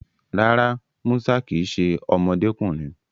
Rárá, Musa kì í ṣe ọmọdékùnrin